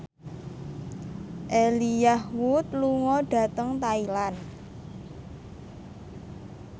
Elijah Wood lunga dhateng Thailand